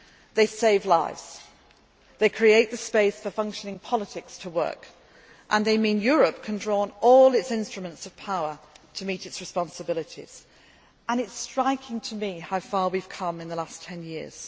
are. They save lives, create the space for functioning politics to work and they mean that Europe can draw on all its instruments of power to meet its responsibilities. It is striking to me how far we have come in the last ten